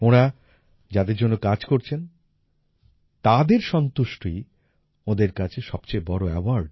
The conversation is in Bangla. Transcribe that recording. ওঁরা যাদের জন্য কাজ করছেন তাদের সন্তুষ্টিই ওঁদের কাছে সবচেয়ে বড় award